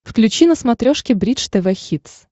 включи на смотрешке бридж тв хитс